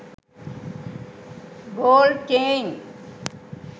gold chain